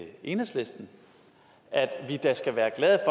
enhedslisten at vi da skal være glade